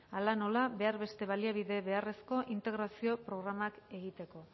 hala nola behar beste baliabide beharrezkoa integrazio programa egiteko